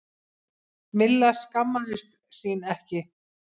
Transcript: Milla skammaðist sín ekki.